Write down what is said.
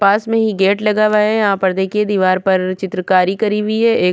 पास मे ही गेट लगा हुआ है यहाँ पर देखिये दिवार पर चित्रकारी करी हुई है एक --